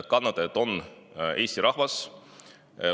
Kannataja on Eesti rahvas.